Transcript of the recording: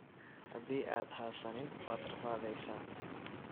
Hadii aad xasanin waad rafadheysa.